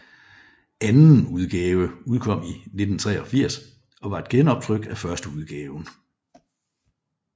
Anden udgave udkom i 1983 og var et genoptryk af førsteudgaven